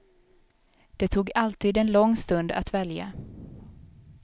Det tog alltid en lång stund att välja.